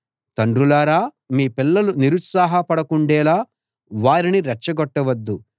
తండ్రులారా మీ పిల్లలు నిరుత్సాహపడకుండేలా వారిని రెచ్చగొట్టవద్దు